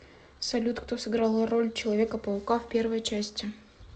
салют кто сыграл роль человека паука в первой части